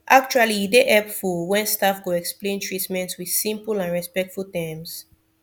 actually e dey hepful wen staf go explain treatment with simple and respectful terms